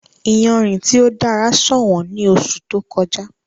Ìyánrín ti o dara ṣọwọn ní oṣù tó kọ̀jà.